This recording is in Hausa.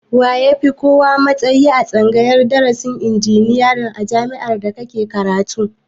Wa ya fi kowa matsayi a tsangayar darasin injiniya na jami'ar da kike karatu